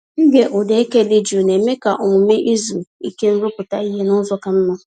Ịge ụda eke dị jụụ na-eme ka omume izu ike m rụpụta ihe n'ụzọ ka mma.